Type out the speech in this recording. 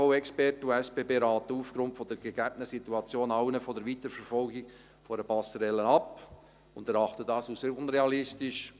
BAV-Experten und die SBB raten aufgrund der gegebenen Situation allen von der Weiterverfolgung einer Passerelle ab und erachten das als unrealistisch.